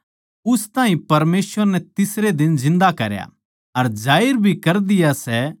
उस ताहीं परमेसवर नै तीसरे दिन जिन्दा करया अर जाहिर भी कर दिया सै